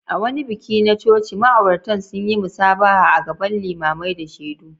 A wani bikin aure na coci, ma’auratan sun yi musabaha a gaban limamai da shaidu.